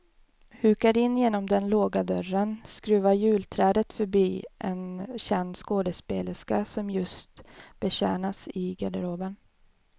Hukar in genom den låga dörren, skruvar julträdet förbi en känd skådespelerska som just betjänas i garderoben.